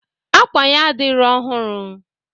Akwa ya adirọ ọhụrụ.